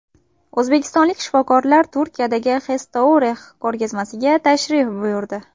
O‘zbekistonlik shifokorlar Turkiyadagi Hestourex ko‘rgazmasiga tashrif buyurdi.